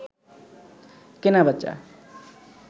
কেনাবেচা